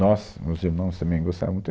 Nós, meus irmãos também gostavam muito.